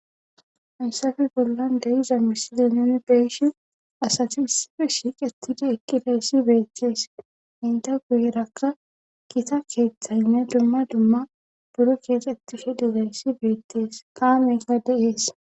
Ansafi bollan deyiza misile nuni beishi asati issife shiiqetidi eqqi layssi beettees inte guyerakka kita keeththaynne dumma dumma buro keexxetti she dizayssi beettees kaame gade ees.